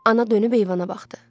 Ana dönüb eyvana baxdı.